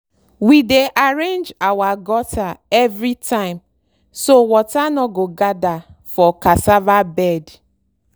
we dey arrange our gutter every time so water no go gather for cassava bed.